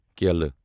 کیلہٕ